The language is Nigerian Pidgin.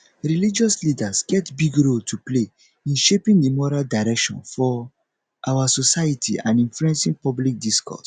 religious leaders get big role to play in shaping di moral direction for our society and influencing public discourse